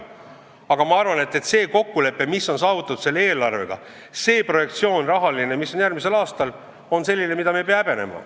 Aga ma arvan, et see kokkulepe, mis on saavutatud selle eelarve puhul, see rahaline projektsioon on selline, mida me ei pea häbenema.